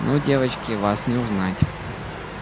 ну девочки вас не узнать